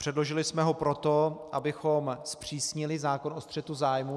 Předložili jsme ho proto, abychom zpřísnili zákon o střetu zájmů.